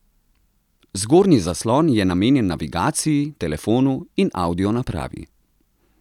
Zgornji zaslon je namenjen navigaciji, telefonu in audio napravi.